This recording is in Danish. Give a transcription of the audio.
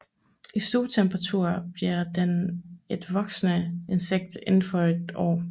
I stuetemperatur bliver den et voksent insekt indenfor et år